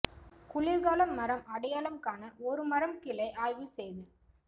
குளிர்கால மரம் அடையாளம் காண ஒரு மரம் கிளை ஆய்வு செய்தல்